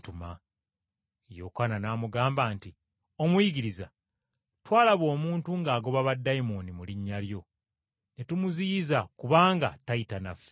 Yokaana n’amugamba nti, “Omuyigiriza, twalaba omuntu ng’agoba baddayimooni mu linnya lyo, ne tumuziyiza kubanga tayita naffe.”